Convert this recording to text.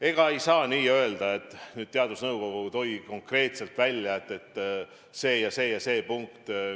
Ega ei saa nii öelda, et teadusnõukogu tõi konkreetselt välja, et vajalik oleks veel see ja see ja see meede.